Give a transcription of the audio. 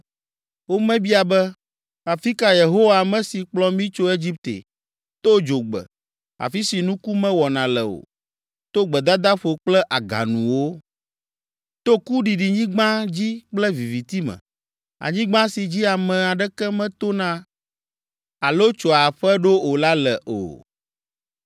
Womebia be, ‘Afi ka Yehowa, ame si kplɔ mí tso Egipte, to dzogbe, afi si nuku mewɔna le o, to gbedadaƒo kple aganuwo, to kuɖiɖinyigba dzi kple viviti me, anyigba si dzi ame aɖeke metona alo tso aƒe ɖo o la le?’ o.